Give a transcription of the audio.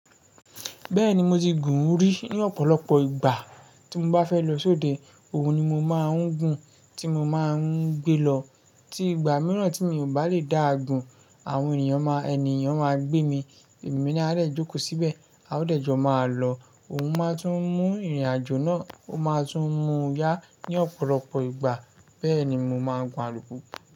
Bẹ́ẹ̀ni, mo ti gùn ún rí ní ọ̀pọ̀lọpọ̀ ìgbà. Tí mo bá fẹ́ lọ sóde, òun ni mo máa ń gun, tí mo máa ń gbé lọ. Tí ìgbà mìíràn tí mi ò bá lè dáa gùn, àwọn ènìyàn máa, ènìyàn máa gbé mi. Èmi náà rẹ jókòó síbẹ̀, a ó dẹ̀jọ máa lọ. Òun máa tún mú ìrìnàjò náà, ó máa tún mú yá ní ọ̀pọ̀lọpọ̀ ìgbà. Bẹ́ẹ̀ni, mo máa ń gun alùpùpù.